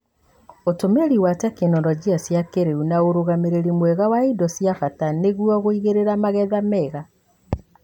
ũtũmĩri wa tekinoronjĩ cia kĩrĩu, na ũrũgamĩrĩri mwega wa indo ci bata nĩguo gũigĩrĩra magetha mega.